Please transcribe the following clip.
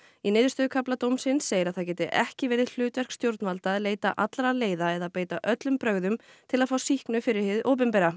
í niðurstöðukafla dómsins segir að það geti ekki verið hlutverk stjórnvalda að leita allra leiða eða beita öllum brögðum til að fá sýknu fyrir hið opinbera